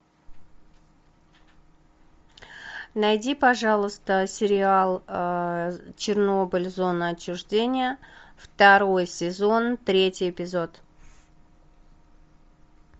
найди пожалуйста сериал чернобыль зона отчуждения второй сезон третий эпизод